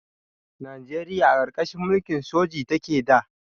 Najeriya a ƙarƙashin mulkin soji take da.